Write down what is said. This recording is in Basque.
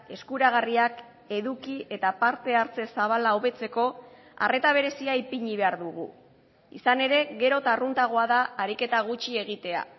eskuragarriak eduki eta parte hartze zabala hobetzeko arreta berezia ipini behar dugu izan ere gero eta arruntagoa da ariketa gutxi egitea